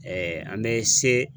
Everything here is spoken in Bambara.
an be se